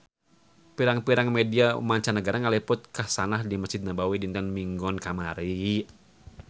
Pirang-pirang media mancanagara ngaliput kakhasan di Mesjid Nabawi dinten Minggon kamari